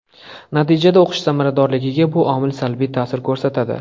Natijada o‘qish samaradorligiga bu omil salbiy ta’sir ko‘rsatadi.